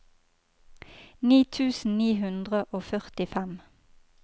ni tusen ni hundre og førtifem